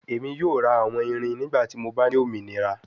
Emi yoo ra awọn irin nigbati mo ba ni ominira